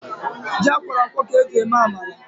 Ji akwọrọ akwọ ka eji eme amala